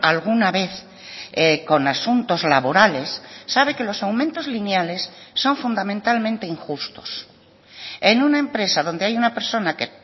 alguna vez con asuntos laborales sabe que los aumentos lineales son fundamentalmente injustos en una empresa donde hay una persona que